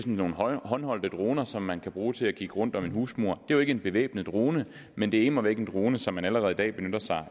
nogle håndholdte droner som man kan bruge til at kigge rundt om en husmur det jo ikke en bevæbnet drone men det er immer væk en drone som man allerede i dag benytter sig